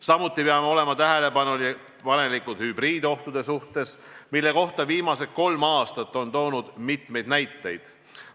Samuti peame olema tähelepanelikud hübriidohtude suhtes, mille kohta viimased kolm aastat on toonud mitmeid näiteid.